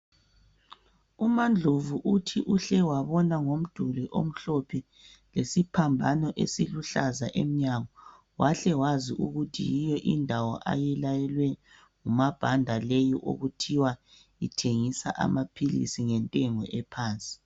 UmaNdlovu uthi uhle wabona ngomduli omhlophe lesiphambano esiluhlaza emnyango wahle wazi ukuthi yiyo indawo ayilayelwe ngumsBhanda leyi okuthiwa ithengisa amaphilisi ngentengo aphansi